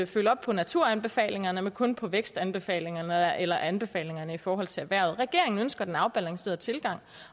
følge op på naturanbefalingerne men kun på vækstanbefalingerne eller anbefalingerne i forhold til erhvervet regeringen ønsker den afbalancerede tilgang